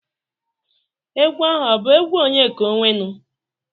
Egwu ahụ a bụ egwu Onyeka Ọnwenu?